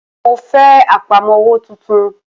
Mo fẹ́ Àpámọ́wọ́ tuntun